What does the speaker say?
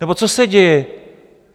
Nebo co se děje?